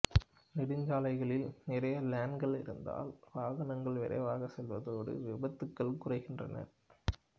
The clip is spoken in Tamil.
நெடுஞ்சாலைகளில் நிறைய லேன்கள் இருந்தால் வாகனங்கள் விரைவாக செல்வதோடு விபத்துக்களும் குறைகின்றன